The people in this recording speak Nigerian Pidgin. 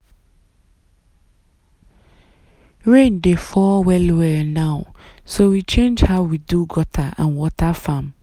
rain dey fall well well now so we change how we do gutter and water farm.